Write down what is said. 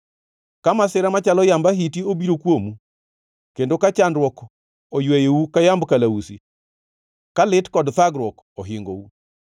ka masira machalo yamb ahiti obiro kuomu, kendo ka chandruok oyweyou ka yamb kalausi. Ka lit kod thagruok ohingou.